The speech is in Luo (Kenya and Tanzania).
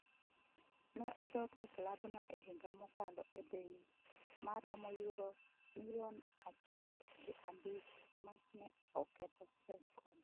Ne odok e klabno e higa mokalo e bei ma romo Yuro milion achiek gi abich ma ne oketho rekod.